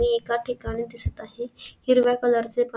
ने एका ठिकाणी दिसत आहे हिरव्या कलर चे पान --